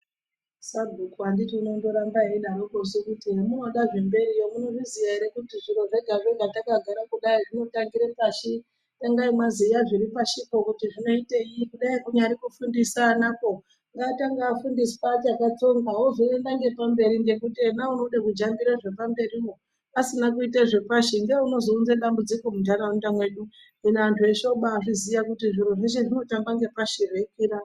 Sabhuku anditi unondoramba eidaroko su kuti hemunoda zvemberiyo munozviziya ere kuti zviro zvacho hazvakazodzara kudai zvinotangire pashi. Tangai mwaziya zviri pashipo kuti zvinoitei kudai kunyari kufundisa anakwo ngaatange afundiswa achakatsonga ozoenda ngepamberi ngekuti yena unode kujambire mberiwo asina kuite zvepashi ngeunozounze dambudziko muntaraunda mwedu. Hino antu eshe obaazviziya kuti zviro zveshe zvinotanga ngepashi zveikwira.